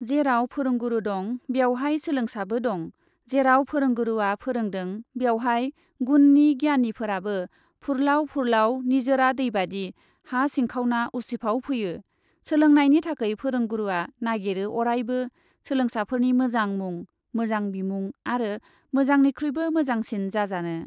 जेराव फोरोंगुरु दं बेवहाय सोलोंसाबो दं, जेराव फोरोंगुरुआ फोरोंदों बेवहाय गुणनि गियानिफोराबो फुरलाव फुरलाव निजोरा दैबादि हा सिंखावना उसिफाव फैयो, सोलोंनायनि थाखै फोरोंगुरुआ नागिरो अरायबो सोलोंसाफोरनि मोजां मुं, मोजां बिमुं आरो मोजांनिख्रुइबो मोजांसिन जाजानो ।